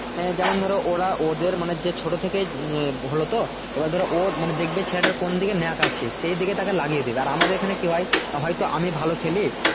আঃ যেমন ধরো ওরা ওদের মানে যে ছোট থেকে এ হলো তো এবার ধরো ওর দেখবে ছেলেটার কোন দিকে ন্যাক আছে সেদিকে তাকে লাগিয়ে দেবে আর আমাদের এখানে কি হয় তো আমিও ভালো খেলি